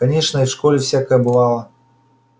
конечно и в школе всякое бывало